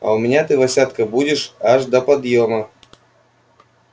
а у меня ты васятка будешь аж до подъёма